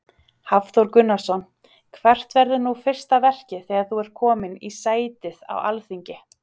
Hafþór Gunnarsson: Hvert verður nú fyrsta verkið þegar þú ert komin í sætið á Alþingi?